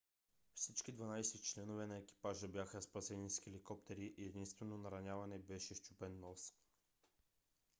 всички 12 членове на екипажа бяха спасени с хеликоптери и единственото нараняване беше счупен нос